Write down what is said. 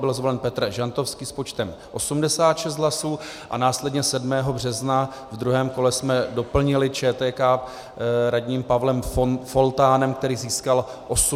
Byl zvolen Petr Žantovský s počtem 86 hlasů a následně 7. března v druhém kole jsme doplnili ČTK radním Pavlem Foltánem, který získal 89 hlasů.